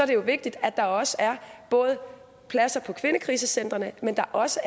det vigtigt at der også er både pladser på kvindekrisecentrene men også